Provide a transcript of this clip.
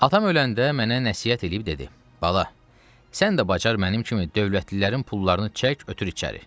Atam öləndə mənə nəsihət eləyib dedi: "Bala, sən də bacar mənim kimi dövlətlilərin pullarını çək, ötür içəri."